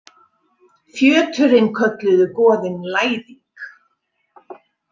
Fjöturinn kölluðu goðin Læðing.